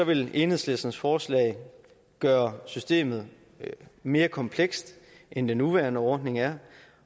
vil enhedslistens forslag gøre systemet mere komplekst end den nuværende ordning er